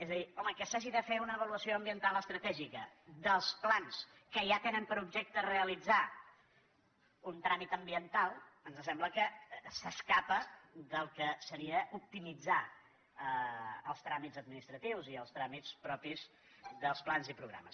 és a dir home que s’hagi de fer una avaluació ambiental estratègica dels plans que ja tenen per objecte realitzar un tràmit ambiental ens sembla que s’escapa del que seria optimitzar els tràmits administratius i els tràmits propis dels plans i programes